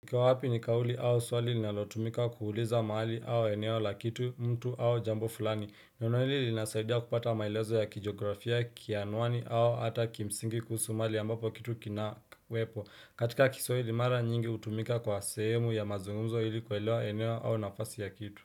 Kwa wapi ni kauli au swali nalotumika kuhuliza mahali au eneo la kitu mtu au jambo fulani Neno hili linasaidia kupata maelezo ya kijografia kianwani au hata kimsingi kusu mali ambapo kitu kinakwepo katika kiswahili mara nyingi utumika kwa sehemu ya mazungumzo hili kuwelewa eneo au nafasi ya kitu.